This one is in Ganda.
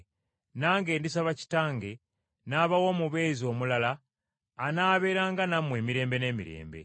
nange ndisaba Kitange n’abawa Omubeezi omulala anaabeeranga nammwe emirembe n’emirembe,